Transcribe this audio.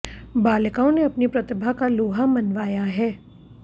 बालिकाओं ने अपनी प्रतिभा का लोहा मनवाया है